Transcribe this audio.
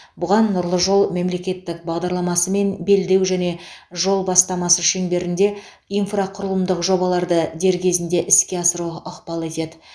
бұған нұрлы жол мемлекеттік бағдарламасы мен белдеу және жол бастамасы шеңберінде инфрақұрылымдық жобаларды дер кезінде іске асыру ықпал етеді